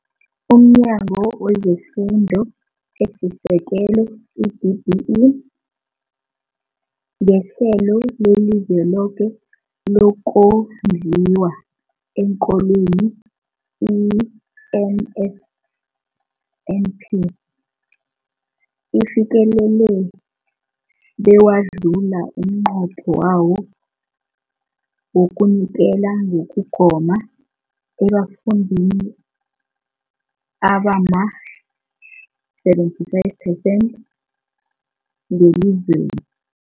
UmNyango wezeFundo esiSekelo, i-DBE, ngeHlelo leliZweloke lokoNdliwa eenKolweni, i-NSNP, ufikelele bewadlula umnqopho wawo wokunikela ngokugoma ebafundini abama-75 phesenthi ngelizweni.